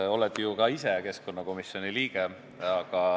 Sa oled ju ka ise keskkonnakomisjoni liige.